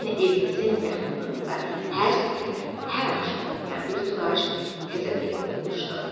Lakin evimizin yaxınlığında hər səhər, hər axşam oxuyan bir turac təzə peyda olmuşdu.